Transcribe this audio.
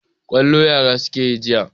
Kwallo yara suka yi jiya.